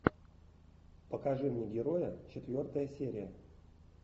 покажи мне героя четвертая серия